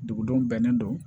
Dugudenw bɛnnen don